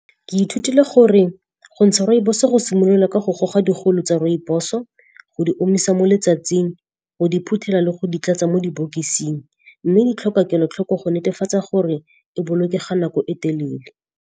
Ke ithutile gore gontsha rooibos-o go simolola ka go goga digolo tsa rooibos-o, go di omisa mo letsatsing, go di phuthela le go di tlatsa mo dibokosing. Mme di tlhoka kelotlhoko go netefatsa gore e bolokega nako e telele.